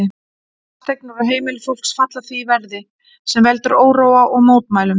Fasteignir og heimili fólks falla því verði, sem veldur óróa og mótmælum.